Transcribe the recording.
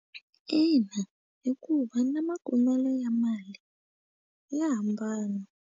Ina hikuva na makumelo ya mali ya hambana.